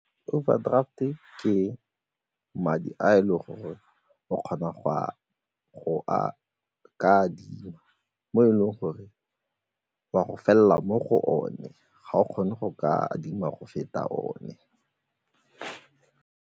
Overdraft-e ke madi a e leng gore o kgona go a ka adima mo e leng gore o a go felela mo go one, ga o kgone go ka adima go feta one.